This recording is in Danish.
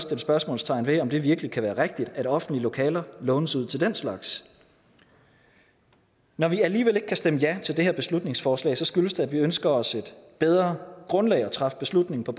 sætte spørgsmålstegn ved om det virkelig kan være rigtigt at offentlige lokaler lånes ud til den slags når vi alligevel ikke kan stemme ja til det her beslutningsforslag skyldes det at vi ønsker os et bedre grundlag at træffe beslutning på